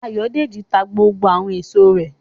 Ayọ̀dèjì ta gbogbo àwọn èso rẹ̀